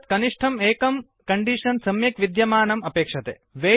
एतत् कनिष्ठम् एकं कण्डीषन् सम्यक् विद्यमानम् अपेक्षते